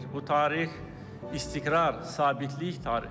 Bu tarix istiqrar sabitlik tarixidir.